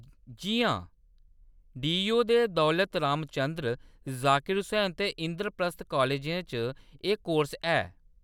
जी हां, डीयू दे दौलत रामचन्द्र , जाकिर हुसैन ते इंद्रप्रस्थ कालजें च एह्‌‌ कोर्स है।